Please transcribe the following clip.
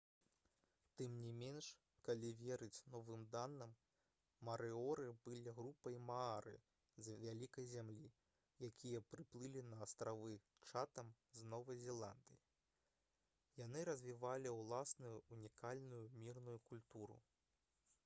тым не менш калі верыць новым даным марыоры былі групай маары з «вялікай зямлі» якія прыплылі на астравы чатэм з новай зеландыі. яны развівалі ўласную ўнікальную мірную культуру